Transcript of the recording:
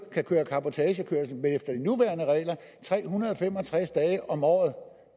kan køre cabotagekørsel tre hundrede og fem og tres dage om året